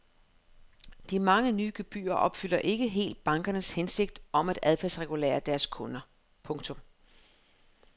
De mange nye gebyrer opfylder ikke helt bankernes hensigt om at adfærdsregulere deres kunder. punktum